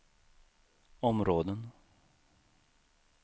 områden